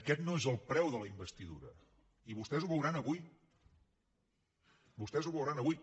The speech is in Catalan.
aquest no és el preu de la investidura i vostès ho veuran avui vostès ho veuran avui